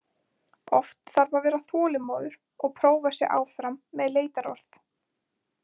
Oft þarf að vera þolinmóður og prófa sig áfram með leitarorð.